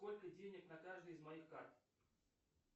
сколько денег на каждой из моих карт